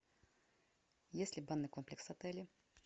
есть ли банный комплекс в отеле